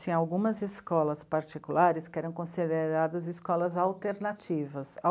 Tinha algumas escolas particulares que eram consideradas escolas alternativas.